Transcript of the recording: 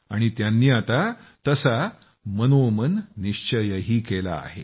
आणि त्यांनी आता तसा मनोमन निश्चयही केला आहे